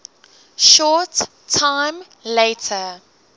short time later